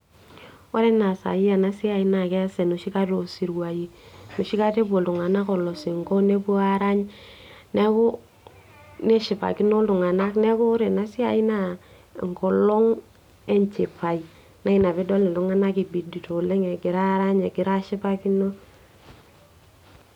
ore enaa sai ena siai naa keesa enoshi kata osiruai enoshi kata epuo iltung'anak olosinko nepuo arany neeku neshipakino iltung'anak neeku ore ena siai naa enkolong enchipai naa ina piidol iltung'anak ipidito oleng egira arany egira ashipakino.